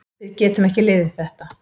Við getum ekki liðið þetta.